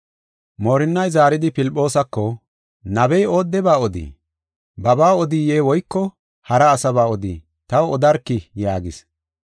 Moorinnay zaaridi Filphoosako, “Nabey oodeba odii? Babaa odiye woyko hara asaba odii? Taw odarkii” yaagis.